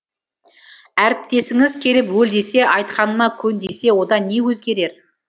әріптесіңіз келіп өл десе айтқаныма көн десе одан не өзгерер